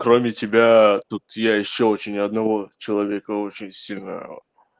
кроме тебя тут я ещё очень одного человека очень сильно